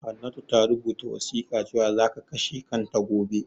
Hannatu ta rubuta wasiƙa cewan zaka kashe kanta gobe